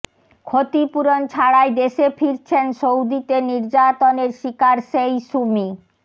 ক্ষতিপূরণ ছাড়াই দেশে ফিরছেন সৌদিতে নির্যাতনের শিকার সেই সুমি